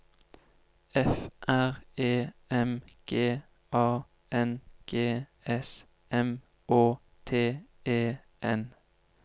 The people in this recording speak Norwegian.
F R E M G A N G S M Å T E N